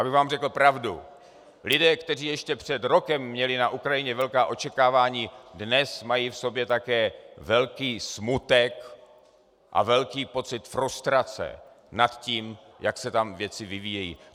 Abych vám řekl pravdu, lidé, kteří ještě před rokem měli na Ukrajině velká očekávání, dnes mají v sobě také velký smutek a velký pocit frustrace nad tím, jak se tam věci vyvíjejí.